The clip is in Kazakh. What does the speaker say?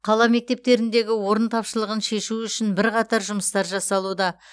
қала мектептеріндегі орын тапшылығын шешу үшін бірқатар жұмыстар жасалуда